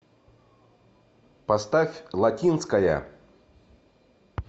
поставь латинская